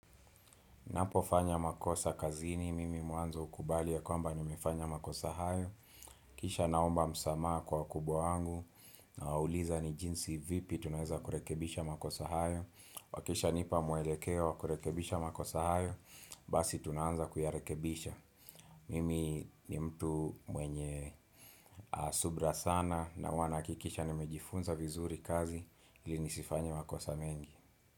Napo fanya makosa kazini, mimi mwanzo hukubali ya kwamba ni mefanya makosa hayo. Kisha naomba msamaa kwa wakubwa wangu, na wauliza ni jinsi vipi tunaweza kurekebisha makosa hayo. Wakisha nipa mwelekeo kurekebisha makosa hayo, basi tunaanza kuyarekebisha. Mimi ni mtu mwenye subira sana na huwa nahakikisha ni mejifunza vizuri kazi ili nisifanya makosa mengi.